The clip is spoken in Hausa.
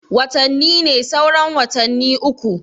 Watani ne sauran watanni uku